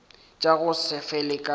tša go se fele ka